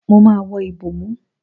Mo máa wọ ìbòmú.